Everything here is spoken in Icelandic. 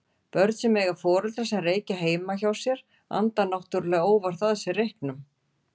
Börn sem eiga foreldra sem reykja heima hjá sér anda náttúrulega óvart að sér reyknum.